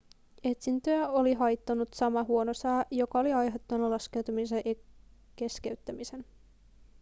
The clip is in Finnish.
etsintöjä oli haitannut sama huono sää joka oli aiheuttanut laskeutumisen keskeyttämisen